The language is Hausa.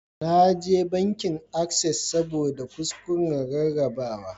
Na je bankin Access ne saboda kuskuren rarrabawa